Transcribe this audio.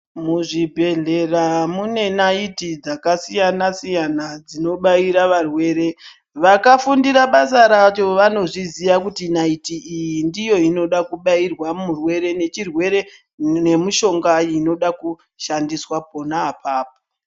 Muzvibhedhlera mune naiti dzakasiyana siyana dzinobaira varwere, vakafundira basa racho vanozviziva kuti naiti iyi ndiyo inoda kubairwa murwere nechirwere nemishonga inoda kushandiswa pona apapo.